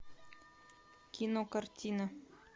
кинокартина